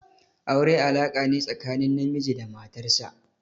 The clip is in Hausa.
Aure alaka ne tsakanin namiji da matar sa.